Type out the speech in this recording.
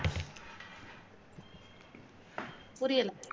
புரியல